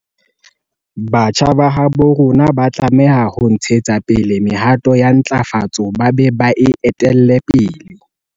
Batjha ba habo rona ba tlameha ho ntshetsa pele mehato ya ntlafatso ba be ba e etelle pele.